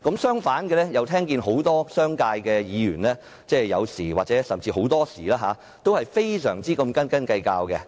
相反，很多商界的議員有時候甚至很多時候都非常斤斤計較。